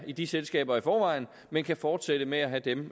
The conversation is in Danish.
i de selskaber i forvejen men kan fortsætte med at have dem